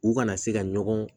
U kana se ka ɲɔgɔn